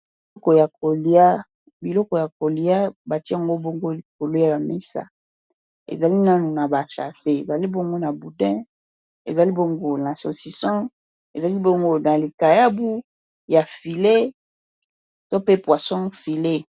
Biloko ya kolia batiyango bongo kolua ya misa ezali nanu na bacase ezali bongo na boudin ezali bongo na socison ezali bongo na likayabu ya filet to pe poisson filet